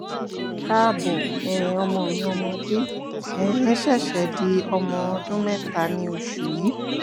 kaabo um ọmọ mi ọmọdé um ṣẹ̀ṣẹ̀ di ọmọ ọdún mẹ́ta ní oṣù yìí